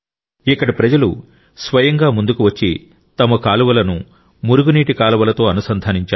ఇక్కడి ప్రజలు స్వయంగా ముందుకు వచ్చి తమ కాలువలను మురుగునీటి కాలువలతో అనుసంధానించారు